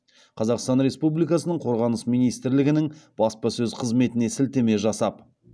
қазақстан республикасының қорғаныс министрлігінің баспасөз қызметіне сілтеме жасап